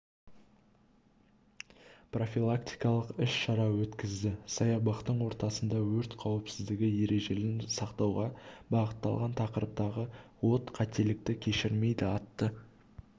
профилактикалық іс-шара өткізді саябақтың ортасында өрт қауіпсіздігі ережелерін сақтауға бағытталған тақырыптағы от қателікті кешірмейді атты